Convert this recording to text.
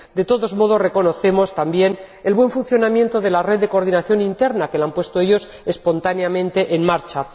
De todos modos, reconocemos también el buen funcionamiento de la red de coordinación interna, que han puesto ellos espontáneamente en marcha.